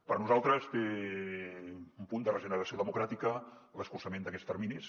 per nosaltres té un punt de regeneració democràtica l’escurçament d’aquests terminis